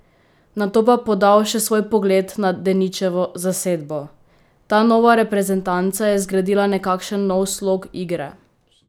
Nato pa podal še svoj pogled na "Deničevo" zasedbo: "Ta nova reprezentanca je zgradila nekakšen nov slog igre.